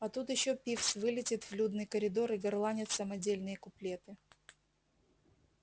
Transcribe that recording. а тут ещё пивз вылетит в людный коридор и горланит самодельные куплеты